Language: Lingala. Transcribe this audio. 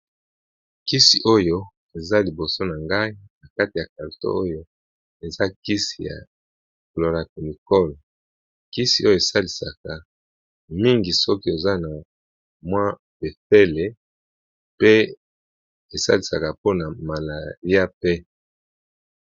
kisi oyo eza liboso na ngai na kati ya calto oyo eza kisi ya cloracunicol kisi oyo esalisaka mingi soki oza na mwa pefele pe esalisaka mpona malalia pe